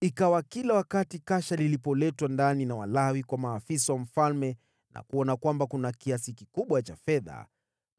Ikawa kila wakati kasha lilipoletwa ndani na Walawi kwa maafisa wa mfalme na kuona kwamba kuna kiasi kikubwa cha fedha,